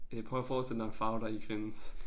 Øh prøv at forestille dig en farve der ikke findes